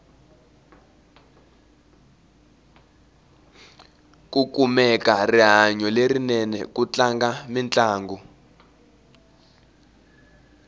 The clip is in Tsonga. ku kumeka rihanyu lerinene ku tlanga mintlangu